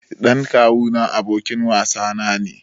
Ɗan kawu na abokin wasa na ne.